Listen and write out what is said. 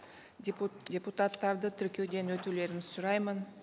депутаттарды тіркеуден өтулерін сұраймын